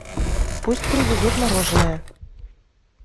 пусть привезут мороженое